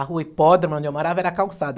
A rua Hipódromo, onde eu morava, era calçada.